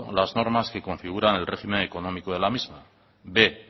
las normas que configuran el régimen económico de la misma b